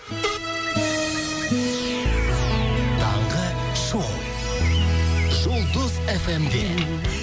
таңғы шоу жұлдыз эф эм де